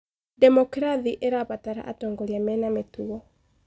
Ndemokirathĩ ĩrabatara atongoria mena mĩtugo.